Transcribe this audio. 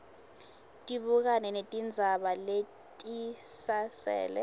tibukane netindzaba letisasele